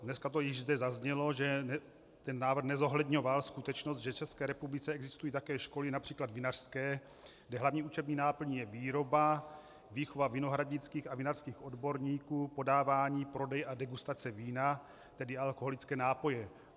Dneska to již zde zaznělo, že ten návrh nezohledňoval skutečnost, že v České republice existují také školy například vinařské, kde hlavní učební náplní je výroba, výchova vinohradnických a vinařských odborníků, podávání, prodej a degustace vína, tedy alkoholické nápoje.